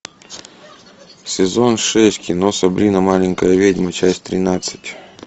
сезон шесть кино сабрина маленькая ведьма часть тринадцать